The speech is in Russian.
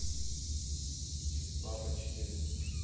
папа четыреста